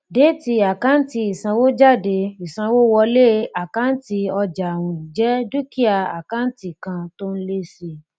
déètì àkáǹtì ìsanwójáde ìsanwówọlé àkáǹtì ọjààwìn jẹ dúkìá àkáǹtì kan tó ń lé sí i